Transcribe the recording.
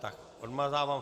Tak odmazávám.